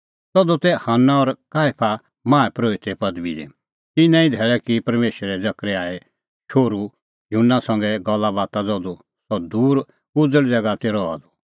तधू तै हन्ना और काईफा माहा परोहिते पदबी दी तिन्नां ई धैल़ै की परमेशरै जकरयाहे शोहरू युहन्ना संघै गल्लाबाता ज़धू सह दूर उज़ल़ ज़ैगा दी रहा त